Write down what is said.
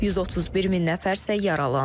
131 min nəfər isə yaralanıb.